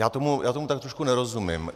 Já tomu tak trošku nerozumím.